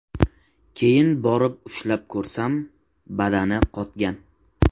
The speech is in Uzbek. Keyin borib ushlab ko‘rsam, badani qotgan.